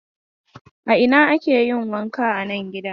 A ina ake yin wanka a nan gidan?